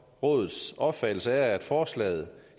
rådets opfattelse af forslaget